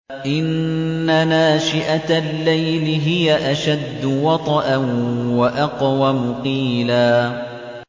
إِنَّ نَاشِئَةَ اللَّيْلِ هِيَ أَشَدُّ وَطْئًا وَأَقْوَمُ قِيلًا